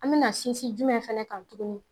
An bɛna sinsin jumɛn fana kan tuguni